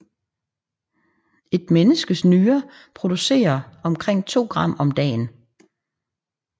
Et menneskes nyre producerer omkring to gram om dagen